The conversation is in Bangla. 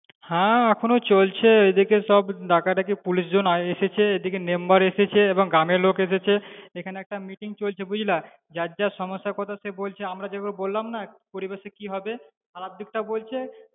হ্যাঁ এখনো চলছে এদিকে সব ডাকাডাকি police জন এসেছে, এদিকে member এসেছে এবং গ্রামের লোক এসেছে এখানে একটা meeting চলছে বুঝলা, যার যা সমস্যার কথা সে বলছে আমরা যেগুলো বললাম না পরিবেশে কি হবে খারাপ দিকটাও বলছে